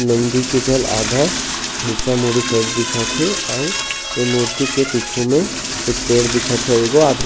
नन्दी के गल आधा हिस्सा मुड़ी साइड दिखत हे आऊ इ मुर्ति के पीछु में कुछ पेड़ दिखत हे आऊ एगो आदमी--